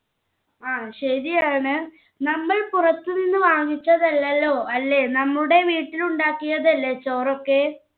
ആ ശരിയാണ് നമ്മൾ പുറത്തുനിന്ന് വാങ്ങിച്ചതല്ലല്ലോ അല്ലേ നമ്മുടെ വീട്ടിൽ ഉണ്ടാക്കിയതല്ലേ ചോറൊക്കെ